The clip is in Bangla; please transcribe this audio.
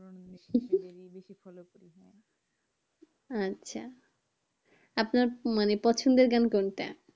আচ্ছা আপনার মানে পছন্দের গান কোনটা?